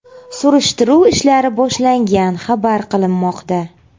Surishtiruv ishlari boshlangan xabar qilinmoqda.